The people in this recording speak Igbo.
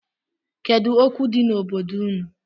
Kedu okwu di n’obodo unu?